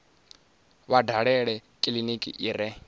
vha dalele kiliniki i re